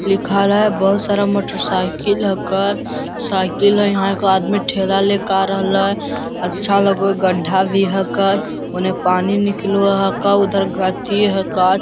लिखल है बहुत सारा मोटरसाइकिल हक्के साइकिल है यहाँ एक आदमी ठेला लेके आ रहल है अच्छा लगो गड्ढा भी हक्के ओने पानी निकलो हक्के उधर गति है काज --